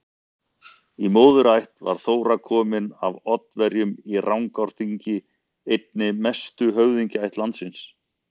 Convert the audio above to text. Í móðurætt var Þóra komin af Oddaverjum í Rangárþingi, einni mestu höfðingjaætt landsins.